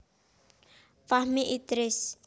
Fahmi Idris